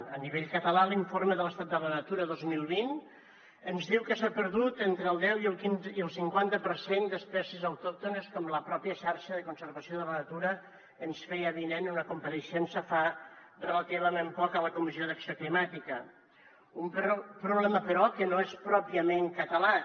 a nivell català l’informe de l’estat de la natura dos mil vint ens diu que s’ha perdut entre el deu i el cinquanta per cent d’espècies autòctones com la pròpia xarxa per a la conservació de la natura ens feia avinent en una compareixença fa relativament poc a la comissió d’acció climàtica un problema però que no és pròpiament català